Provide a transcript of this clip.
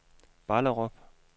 Ballerup